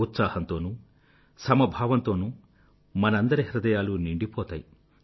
ఉత్సాహంతోనూ సమభావంతోనూ మనందరి హృదయాలూ నిండిపోతాయి